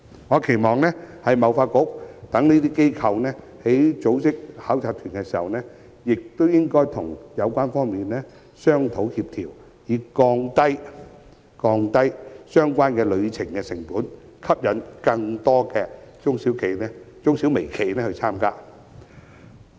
我期望貿發局等機構在組織考察團時，會與有關方面商討協調，以降低相關旅程的成本，吸引更多中小微企參與。